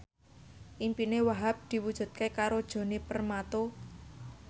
impine Wahhab diwujudke karo Djoni Permato